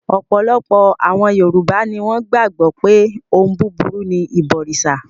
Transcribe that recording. Ọ̀pọ̀lọpọ̀ àwọn Yorùbá ni wọ́n gbàgbọ́ pé ohun búburú ni ìbọrìṣà.